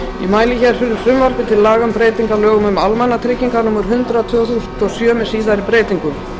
um breytingu á lögum um almannatryggingar númer hundrað tvö þúsund og sjö með síðari breytingum í